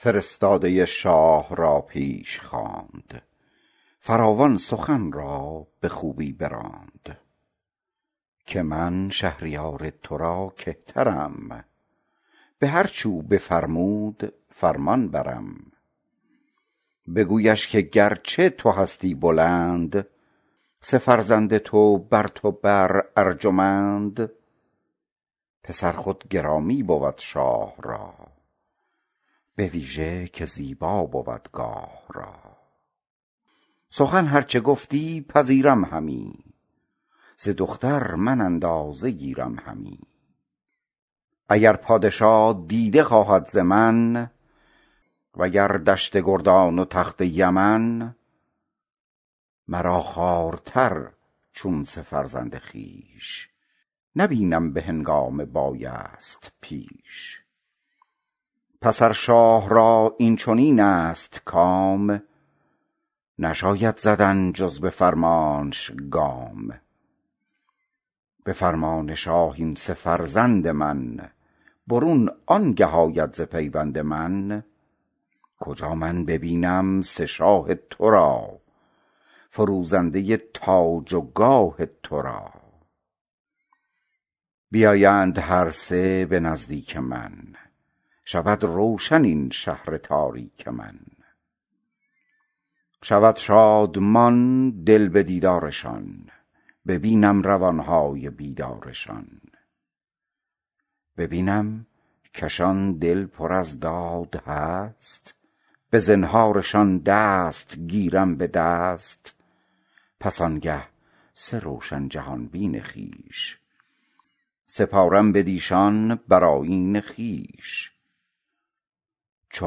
فرستاده شاه را پیش خواند فراوان سخن را به خوبی براند که من شهریار ترا کهترم به هرچ او بفرمود فرمانبرم بگویش که گرچه تو هستی بلند سه فرزند تو برتو بر ارجمند پسر خود گرامی بود شاه را بویژه که زیبا بود گاه را سخن هر چه گفتی پذیرم همی ز دختر من اندازه گیرم همی اگر پادشا دیده خواهد ز من و گر دشت گردان و تخت یمن مرا خوارتر چون سه فرزند خویش نبینم به هنگام بایست پیش پس ار شاه را این چنین است کام نشاید زدن جز به فرمانش گام به فرمان شاه این سه فرزند من برون آنگه آید ز پیوند من کجا من ببینم سه شاه ترا فروزنده تاج و گاه ترا بیایند هر سه به نزدیک من شود روشن این شهر تاریک من شود شادمان دل به دیدارشان ببینم روانهای بیدارشان ببینم کشان دل پر از داد هست به زنهارشان دست گیرم به دست پس آنگه سه روشن جهان بین خویش سپارم بدیشان بر آیین خویش چو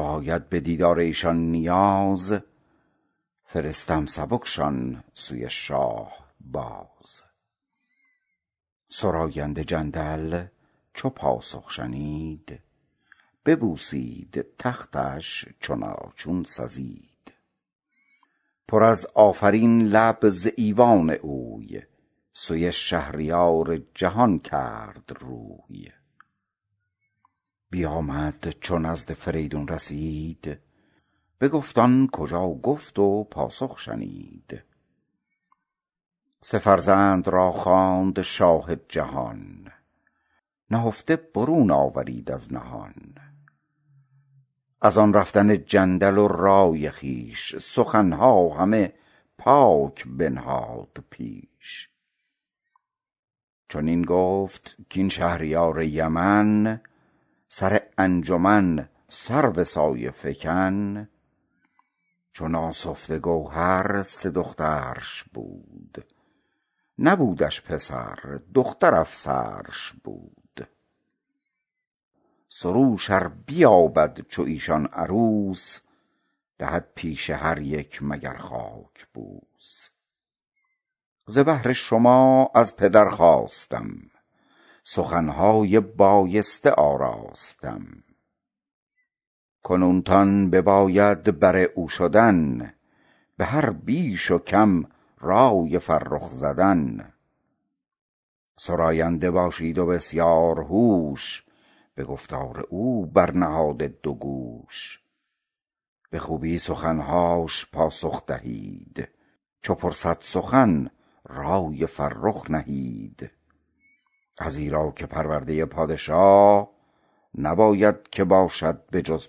آید بدیدار ایشان نیاز فرستم سبکشان سوی شاه باز سراینده جندل چو پاسخ شنید ببوسید تختش چنان چون سزید پر از آفرین لب ز ایوان اوی سوی شهریار جهان کرد روی بیامد چو نزد فریدون رسید بگفت آن کجا گفت و پاسخ شنید سه فرزند را خواند شاه جهان نهفته برون آورید از نهان از آن رفتن جندل و رای خویش سخنها همه پاک بنهاد پیش چنین گفت کاین شهریار یمن سر انجمن سرو سایه فکن چو ناسفته گوهر سه دخترش بود نبودش پسر دختر افسرش بود سروش ار بیابد چو ایشان عروس دهد پیش هر یک مگر خاک بوس ز بهر شما از پدر خواستم سخنهای بایسته آراستم کنون تان بباید بر او شدن به هر بیش و کم رای فرخ زدن سراینده باشید و بسیارهوش به گفتار او برنهاده دوگوش به خوبی سخنهاش پاسخ دهید چو پرسد سخن رای فرخ نهید ازیرا که پرورده پادشا نباید که باشد به جز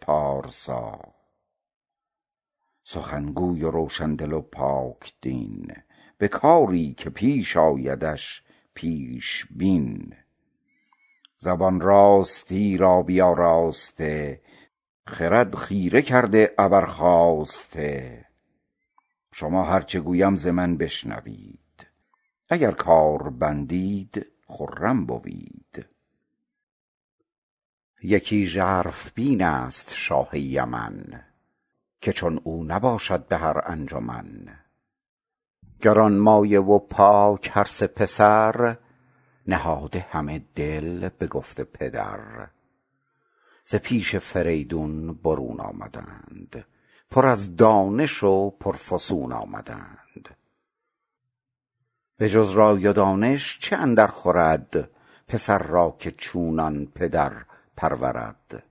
پارسا سخن گوی و روشن دل و پاک دین به کاری که پیش آیدش پیش بین زبان راستی را بیاراسته خرد خیره کرده ابر خواسته شما هر چه گویم ز من بشنوید اگر کار بندید خرم بوید یکی ژرف بین است شاه یمن که چون او نباشد به هرانجمن گرانمایه و پاک هرسه پسر همه دل نهاده به گفت پدر ز پیش فریدون برون آمدند پر از دانش و پرفسون آمدند بجز رای و دانش چه اندرخورد پسر را که چونان پدر پرورد